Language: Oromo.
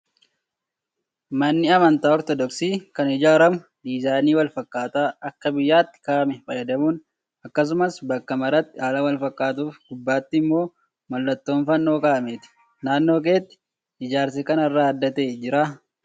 Manni amantaa ortodoksii kan ijaaramu diizaayinii wal fakkaataa akka biyyaatti kaa'ame fayyadamuun akkasumas bakka maraatti haala wal fakkaatuu fi gubbaatti immoo mallattoon fannoo kaa'ameeti. Naannoo keetti ijaarsi kanarraa adda ta'e jiraa?